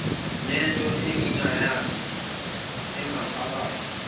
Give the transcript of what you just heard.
nento enganyakazi engaphakathi